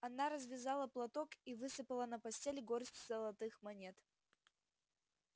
она развязала платок и высыпала на постель горсть золотых монет